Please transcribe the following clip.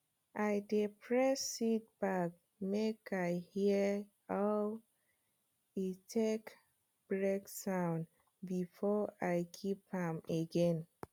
i dey press seed bag make i hear aw e take break sound before i keep am again